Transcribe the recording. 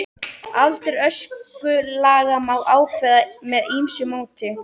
Aldur öskulaga má ákveða með ýmsu móti.